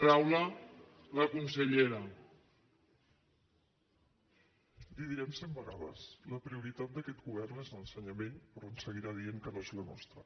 li ho direm cent vegades la prioritat d’aquest govern és l’ensenyament però ens seguirà dient que no és la nostra